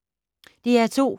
DR2